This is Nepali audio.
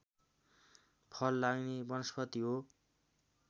फल लाग्ने वनस्पति हो